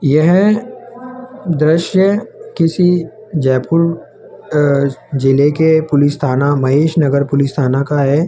यह दृश्य किसी जयपुर अ जिले के पुलिस थाना महेश नगर पुलिस थाना का है।